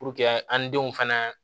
an denw fana